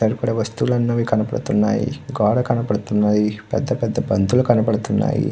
ఇక్కడ వస్తువులు కనపడుతునాయి. కనపడ్తున్నాయి. పెద్ద పెద్ద బంతులు కనపడుతున్నాయి.